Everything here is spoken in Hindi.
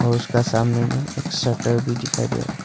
उसका सामने में एक शटर भी दिखाई दे रहा--